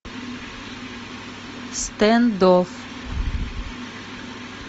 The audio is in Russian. стендофф